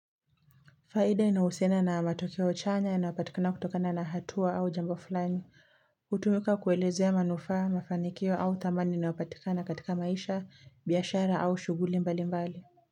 Faida inahusiana na matokeo chanya, inapatikana kutokana na hatua au jambo fulani, hutumika kuelezea manufa, mafanikio au thamani inayopatikana katika maisha, biashara au shughuli mbali mbali.